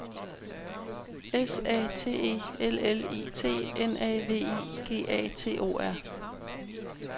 S A T E L L I T N A V I G A T O R